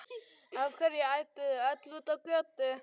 Af hverju ædduð þið öll út á götu?